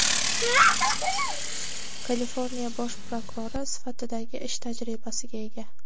Kaliforniya bosh prokurori sifatidagi ish tajribasiga ega.